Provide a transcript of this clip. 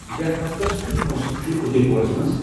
یتھ ہفتس کِیُتھ موسم چُھ اُدے پورس منز ؟